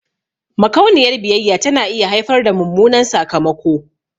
Makauniyar biyayya tana iya haifar da mummunan sakamako.